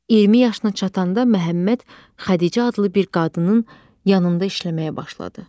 20 yaşına çatanda Məhəmməd Xədicə adlı bir qadının yanında işləməyə başladı.